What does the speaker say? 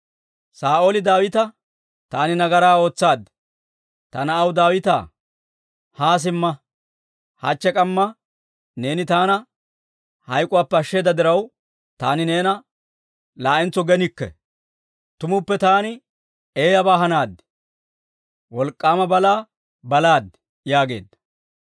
Saa'ooli Daawita, «Taani nagaraa ootsaad. Ta na'aw Daawitaa, haa simma! Hachche k'amma neeni taana hayk'uwaappe ashsheeda diraw, taani neena laa'entso genikke. Tumuppe taani eeyabaa hanaad; wolk'k'aama balaa balaad» yaageedda.